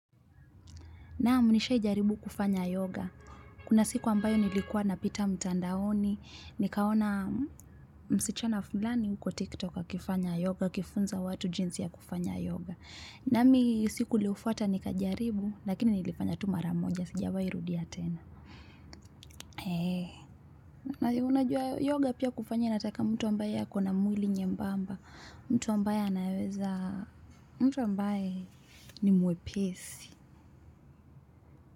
Naam nishawai jaribu kufanya yoga. Kuna siku ambayo nilikuwa napita mtandaoni. Nikaona msichana fulani kwa tiktok akifanya yoga. aKifunza watu jinsi ya kufanya yoga. Nami siku iliyofuata nikajaribu. Lakini nilifanya tu mara moja. Sijawai rudia tena. Heee. Unajua yoga pia kufanya inataka mtu ambaye ako na mwili nyembamba. Mtu ambaye anaweza mtu ambaye ni mwepesi.